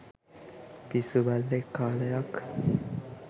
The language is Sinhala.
පිස්සු බල්ලෙක් කාලයක්